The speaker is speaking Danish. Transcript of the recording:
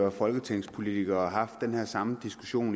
og folketingspolitikere og haft den samme diskussion